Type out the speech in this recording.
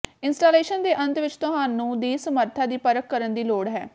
installation ਦੇ ਅੰਤ ਵਿੱਚ ਤੁਹਾਨੂੰ ਦੀ ਸਮਰੱਥਾ ਦੀ ਪਰਖ ਕਰਨ ਦੀ ਲੋੜ ਹੈ